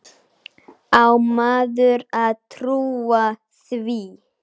Á maður að trúa því?